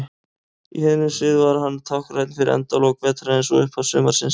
Í heiðnum sið var hann táknrænn fyrir endalok vetrarins og upphaf sumarsins.